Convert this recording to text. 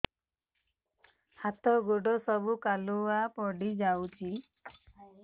ହାତ ଗୋଡ ସବୁ କାଲୁଆ ପଡି ଯାଉଛି